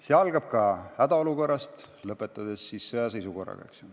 See algab hädaolukorrast ja lõppeb sõjaseisukorraga.